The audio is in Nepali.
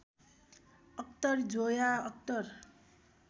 अख्तर जोया अख्तर